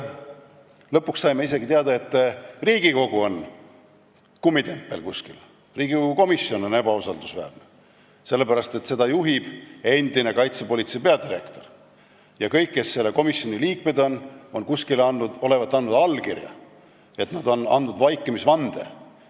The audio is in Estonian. Lõpuks saime isegi teada, et Riigikogu on kuskil kummitempel, Riigikogu komisjon on ebausaldusväärne, sellepärast et seda juhib endine kaitsepolitsei peadirektor ja kõik, kes selle komisjoni liikmed on, olevat kuskil andnud allkirja, nad olevat andnud vaikimisvande.